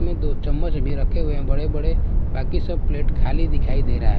में दो चम्मच भी रखे हुए हैं बड़े-बड़े बाकी सब प्लेट खाली दिखाई दे रहा है।